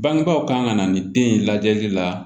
Bangebaaw kan ka na nin den in lajɛli la